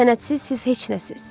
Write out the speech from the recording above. Sənətsiz siz heç nəsəniz.